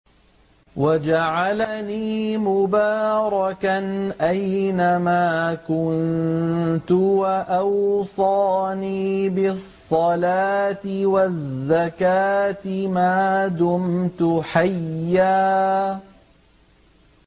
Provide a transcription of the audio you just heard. وَجَعَلَنِي مُبَارَكًا أَيْنَ مَا كُنتُ وَأَوْصَانِي بِالصَّلَاةِ وَالزَّكَاةِ مَا دُمْتُ حَيًّا